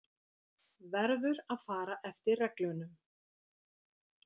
Verður að fara eftir reglunum.